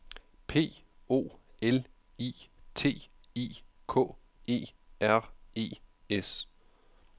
P O L I T I K E R E S